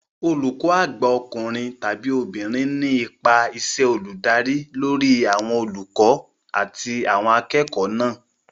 Olùkó àgbà ọkùnrin/obìnrin ní ipa iṣẹ́ olùdarí lórí àwọn olùkọ́ àti àwọn akẹ́kọ̀ọ́ náà